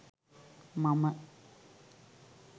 මම